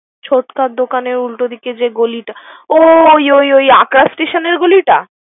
ছোটকার দোকানের উল্টো দিকে যে গলিটা ও ওই ওই আকাশ স্টেশনের গলিতা।